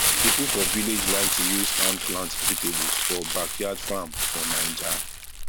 people for village like to use hand plant vegetables for backyard farm for 9ja